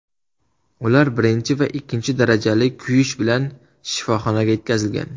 Ular birinchi va ikkinchi darajali kuyish bilan shifoxonaga yetkazilgan.